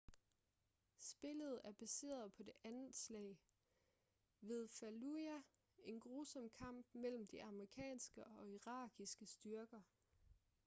spillet er baseret på det andet slag ved fallujah en grusom kamp mellem de amerikanske og irakiske styrker